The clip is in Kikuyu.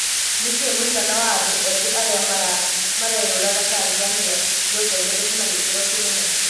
Nĩkĩĩ mũigana wa andũ ethĩ arĩa mareyũraga Tanzania yongererekete na gĩkĩro kĩnene.